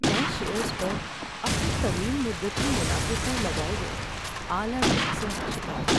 میں شیئرز پر اپنے طویل مدتی منافع پر لگائے گئے اعلی ٹیکسوں کا شکار ہوں۔